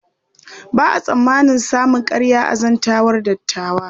Ba a tsammanin samun ƙarya a zantawar dattawa.